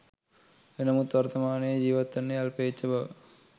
එනමුත් වර්තමානයේ ජීවත් වන්නේ අල්පේච්ඡ බව